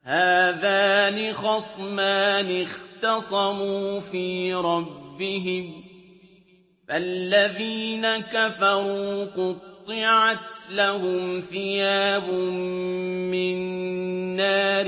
۞ هَٰذَانِ خَصْمَانِ اخْتَصَمُوا فِي رَبِّهِمْ ۖ فَالَّذِينَ كَفَرُوا قُطِّعَتْ لَهُمْ ثِيَابٌ مِّن نَّارٍ